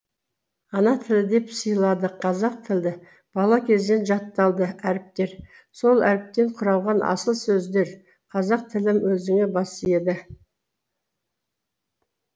ана тіл деп сыйладық қазақ тілді бала кезден жатталды әріптер сол әріптен құралған асыл сөздер қазақ тілім өзіңе бас иеді